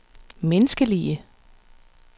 menneskelige